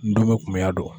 N don bɛ kunbɛnya don